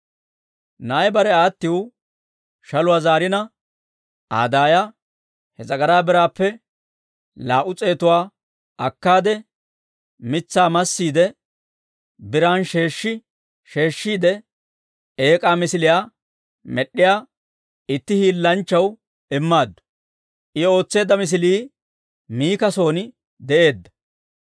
Na'ay bare aattiw shaluwaa zaarina, Aa daaya he s'agaraa biraappe laa"u s'eetuwaa akkaade, mitsaa massiide biran sheeshshi sheeshshiide eek'aa misiliyaa med'd'iyaa itti hiillanchchaw immaaddu; I ootseedda misilii Miika son de'eedda.